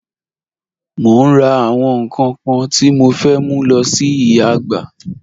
Mo n rà àwọn nkan kan tí mo fẹ́ mú lọ sí ìyà àgbà